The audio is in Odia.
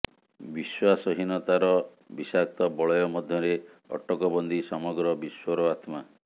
ବିଶ୍ୱାସ ହୀନତାର ବିଶାକ୍ତ ବଳୟ ମଧ୍ୟରେ ଅଟକ ବନ୍ଦୀ ସମଗ୍ର ବିଶ୍ୱର ଆତ୍ମା